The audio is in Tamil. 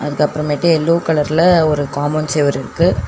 அதுக்கப்றமேட்டு எல்லோ கலர்ல ஒரு காம்பவுண்ட் செவுரிருக்கு.